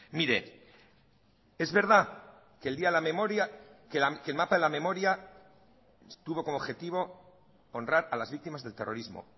mire es verdad que el día de la memoria que el mapa de la memoria estuvo como objetivo honrar a las víctimas del terrorismo